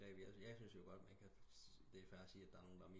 Begreb jeg syntes jo godt man det er fair at sige der er nogen der